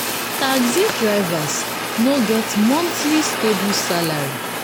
taxi drivers no get monthly stable salary.